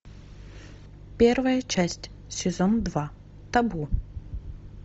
первая часть сезон два табу